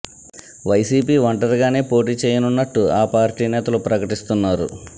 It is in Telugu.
వైసీపీ ఒంటరిగానే పోటీ చేయనున్నట్టు ఆ పార్టీ నేతలు ప్రకటిస్తున్నారు